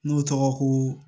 N'o tɔgɔ ko